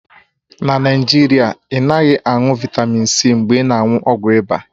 Na Naijiria, ị naghị aṅụ vịtamịn C mgbe ị na-aṅụ ọgwụ ịba